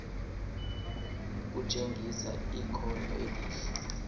kutshengisa ikhono elihle